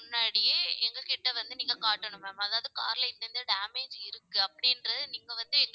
முன்னாடியே எங்ககிட்ட வந்து நீங்க காட்டணும் ma'am அதாவது, car ல இந்த இந்த damage இருக்கு அப்படின்றது நீங்க வந்து